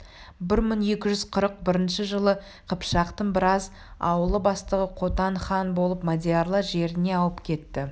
бір мың екі жүз қырық бірінші жылы қыпшақтың біраз ауылы бастығы қотан хан болып мадиярлар жеріне ауып кетті